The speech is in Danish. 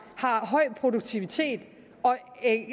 har høj produktivitet og